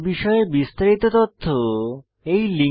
এই বিষয়ে বিস্তারিত তথ্য এই লিঙ্কে প্রাপ্তিসাধ্য